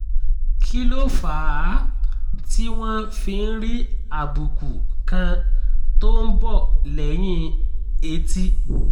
kí ló fà á tí wọ́n fi ń rí àbùkù kan tó ń bọ̀ lẹ́yìn etí?